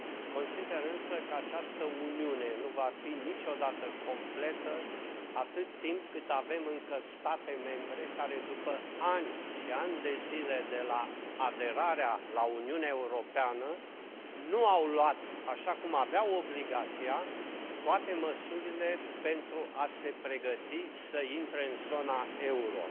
Consider însă că această Uniune nu va fi niciodată completă atât timp cât avem încă state membre care, după ani și ani de zile de la aderarea la Uniunea Europeană, nu au luat, așa cum aveau obligația, toate măsurile pentru a se pregăti să intre în zona euro.